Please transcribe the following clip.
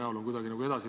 Head kolleegid!